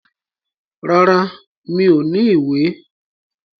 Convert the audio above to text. Rárá, mi ò ní ìwé.